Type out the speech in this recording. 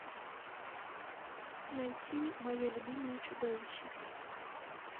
найти мое любимое чудовище